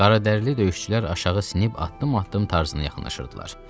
Qaradərli döyüşçülər aşağı sinib addım-addım tarzına yaxınlaşırdılar.